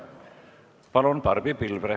Palun, Barbi Pilvre!